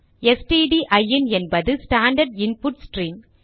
stdin என்பது standard input stream